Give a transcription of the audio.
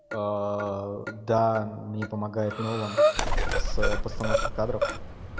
да мне помогает нолан с постановкой кадров